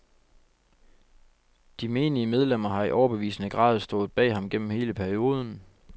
De menige medlemmer har i overbevisende grad stået bag ham gennem hele perioden.